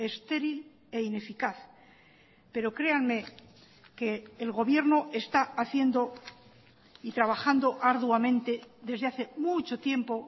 estéril e ineficaz pero créanme que el gobierno está haciendo y trabajando arduamente desde hace mucho tiempo